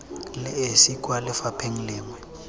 le esi kwa lefapheng lengwe